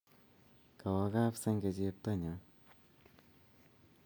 Kawo kap senge cheptonnyu